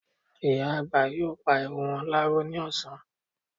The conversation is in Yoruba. Ìyá àgbà yóò pa irun wọn láró ní ọ̀sán